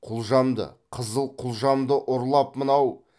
құлжамды қызыл құлжамды ұрлап мынау